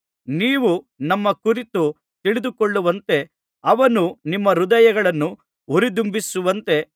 ನೀವು ನಮ್ಮ ಕುರಿತು ತಿಳಿದುಕೊಳ್ಳುವಂತೆ ಅವನು ನಿಮ್ಮ ಹೃದಯಗಳನ್ನು ಉರಿದುಂಬಿಸುವಂತೆ